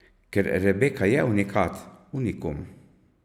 Ker Rebeka je unikat, unikum.